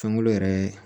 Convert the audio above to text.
Sankolo yɛrɛ